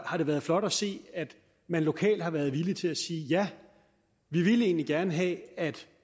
har det været flot at se at man lokalt har været villig til at sige ja vi ville egentlig gerne have at